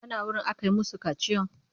Ka na wurin aka yi masu kaciyan?